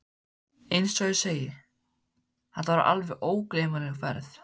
Eins og ég segi. þetta var alveg ógleymanleg ferð.